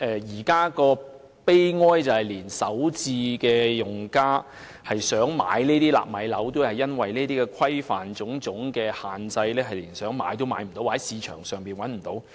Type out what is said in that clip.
現在的悲哀是，即使首次置業用家想購買這些"納米樓"，但卻因為種種規範和限制，想買也買不到，或市場上已找不到這些單位。